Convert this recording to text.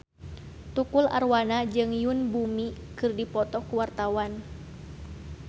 Tukul Arwana jeung Yoon Bomi keur dipoto ku wartawan